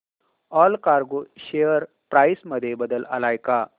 Allcargo share price मध्ये बदल आलाय का